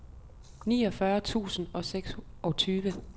niogfyrre tusind og seksogtyve